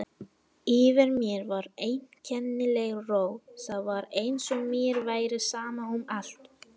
Yfir mér var einkennileg ró, það var eins og mér væri sama um allt.